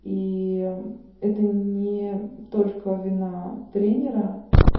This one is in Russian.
и это не только вина тренера